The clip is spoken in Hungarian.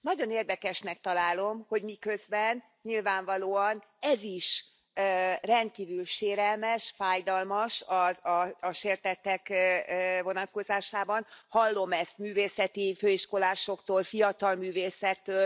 Nagyon érdekesnek találom, hogy miközben nyilvánvalóan ez is rendkívül sérelmes, fájdalmas a sértettek vonatkozásában hallom ezt művészeti főiskolásoktól, fiatal művészektől.